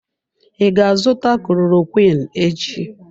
I ga azụta klorokwiin echi?